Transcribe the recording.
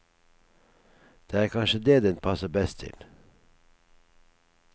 Det er kanskje det den passer best til.